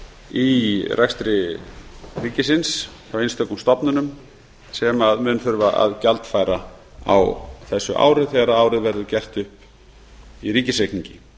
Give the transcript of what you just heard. í rekstri ríkisins hjá einstökum stofnunum sem mun þurfa að gjaldfæra á þessu ári þegar það verður gert upp í ríkisreikningi